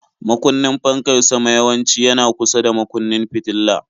Makunnin fankar sama yawanci yana kusa da makunnin fitila.